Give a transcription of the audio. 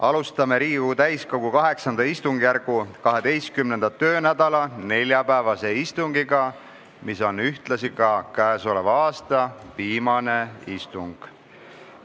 Alustame Riigikogu täiskogu VIII istungjärgu 12. töönädala neljapäevast istungit, mis on ühtlasi ka käesoleva aasta viimane istung.